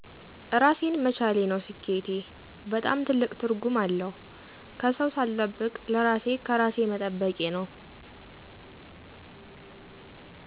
እራሴን መቻሌ ነው ስኬቴ። በጣም ትልቅ ትርጉም አለው። ከሰው ሳልጠብቅ ለራሤ ከራሤ መጠበቄ ነው።